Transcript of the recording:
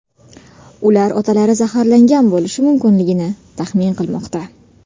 Ular otalari zaharlangan bo‘lishi mumkinligini taxmin qilmoqda.